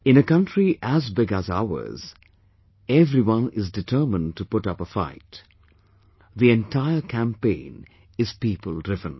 In a country as big as ours, everyone is determined to put up a fight; the entire campaign is people driven